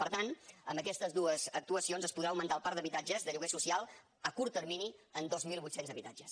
per tant amb aquestes dues actuacions es podrà augmentar el parc d’habitatges de lloguer social a curt termini en dos mil vuit cents habitatges